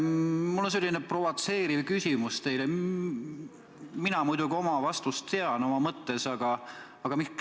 Mul on teile provotseeriv küsimus, millele ma ise oma mõttes muidugi vastust tean.